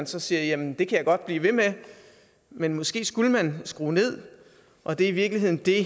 så siger jamen det kan jeg godt blive ved med men måske skulle man skrue ned og det er i virkeligheden det